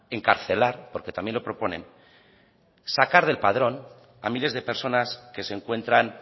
encarcelar porque también lo proponen sacar del padrón a miles de personas que se encuentran